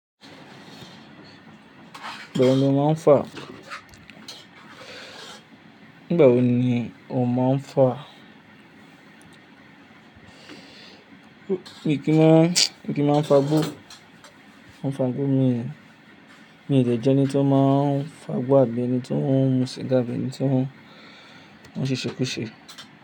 Nígbà wo ni ó máa ń fà? Nígbà wo ni o máa ń fà? Mi kí má, mi kí máa ń fagbó, òǹfàgbó mi ni, mi ò le jẹ́ ẹni tí ó máa ń fagbó àbí ẹni tí ó ń mu sìgá bíi ẹni tí ó ń ṣeṣékúṣe.